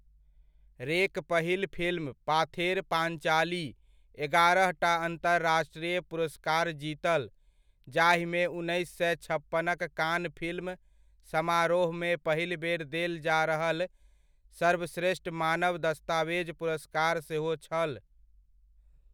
रे'क पहिल फिल्म 'पाथेर पाञ्चाली' एगारहटा अन्तराष्ट्रीय पुरस्कार जीतल, जाहिमे उन्नैस सए छप्पन'क कान फिल्म समारोहमे पहिल बेर देल जा रहल सर्वश्रेष्ठ मानव दस्तावेज पुरस्कार सेहो छल।